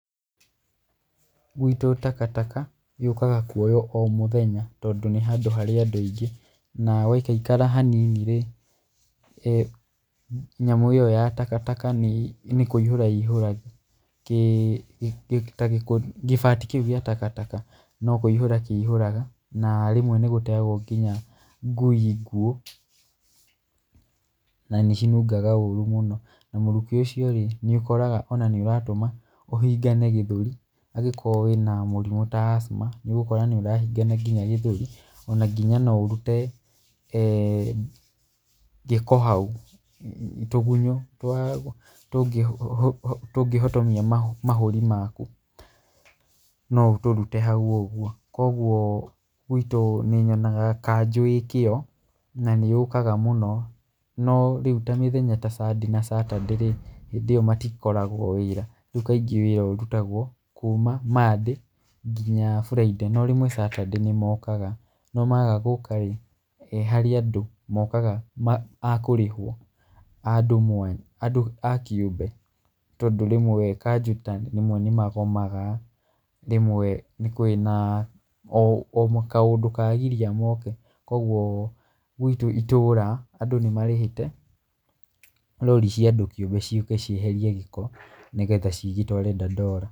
Gwitũ takataka yũkaga kũoyũo omũthenya tondũ nĩhandũ harĩ andũ aingĩ. Na gwaikaikara haninirĩ nyamũ ĩyo ya takataka nĩ nĩ kũihĩra ĩihũraga kĩĩ, gĩbati kĩũ gĩa takataka. No kũihũra kĩihũraga na rĩmwe nĩgũteagwo nginya ngũi ngũũ, na nĩcinungaga ũrũ mũno. Na mũrukĩ ũciorĩ nĩũkoraga nginya nĩũratũma ũhingane gĩthũri. Tarĩũ ũngĩkorwo wĩna mũrimũ ta asthma , nĩũgũkora nĩũrahingana nginya gĩthũri, ona nginya noũrũte um gĩko haũ. Tũgũnyũ twa tũngĩ, tũngĩhotomia nginya mahũri makũ, noũtũrũte haũ ũgũo. kogũo gwitũ nĩnyonaga kanjũ ĩkĩo na nĩyũkaga mũno na rĩũ ta mĩthenya ta sunday na saturday, hĩndĩ ĩyo matikoragwo wĩra. Ũgũo kaingĩ wĩra ũrũtũgwo kũma monday nginya friday no rĩmwe saturday nĩmokaga. No maga gũkarĩ, harĩ andũ mokaga a kũrĩhwo andũ mwanya, andũ a kĩũmbe, tondũ rĩmwe kanjũ tarĩũ nĩmagomaga, rĩmwe nĩkũrĩ na o kaũndũ kagiria moke, kũogũo gwitũ itũra andũ aingĩ nĩmarĩhĩte rori cia andũ kĩũmbũ ciũke cieherie gĩko nĩgetha cigĩtware Ndandora.